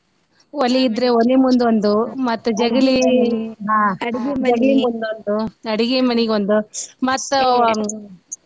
ಒಲಿ ಇದ್ರೆ ಒಲಿ ಮುಂದೊಂದು ಮತ್ತ್ ಜಗಲಿ ಜಗಲಿ ಮುಂದೊಂದು ಅಡ್ಗಿ ಮನಿಗೊಂದ್ ಮತ್ತ